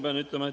Hea minister!